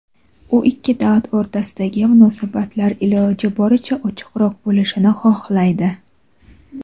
u ikki davlat o‘rtasidagi munosabatlar iloji boricha ochiqroq bo‘lishini xohlaydi.